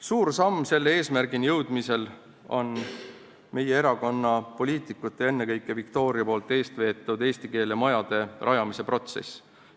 Suur samm selle eesmärgini jõudmisel on meie erakonna poliitikute, ennekõike Viktoria eestveetav eesti keele majade rajamise protsess.